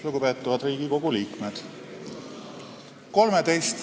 Lugupeetavad Riigikogu liikmed!